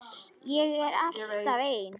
Ég er alltaf ein.